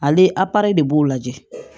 Ale apara de b'o lajɛ